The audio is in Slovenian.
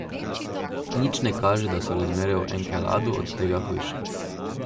Nič ne kaže, da so razmere v Enkeladu od tega hujše.